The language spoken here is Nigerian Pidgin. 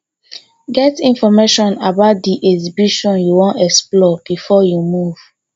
get information about di exhibition you won explore before you move